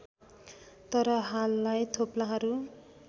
तर हाललाई थोप्लाहरू